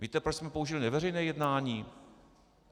Víte, proč jsme použili neveřejné jednání?